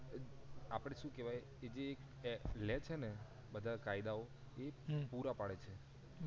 આપડે સુ કેવાય કે જે લે છે ને બધા કાયદા ઓ તે પુરા પાડે છે